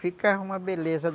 Ficava uma beleza.